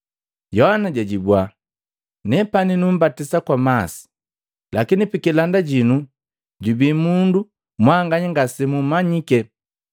Yohana jajibua, “Nepani numbatisa kwa masi. Lakini pikilanda jinu jubii mundu mwanganya ngasemumanyike.